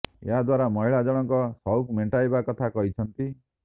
ଏହା ଦ୍ବାରା ମହିଳା ଜଣକ ସୌକ ମେଣ୍ଟାଇବା କଥା କହିଛନ୍ତି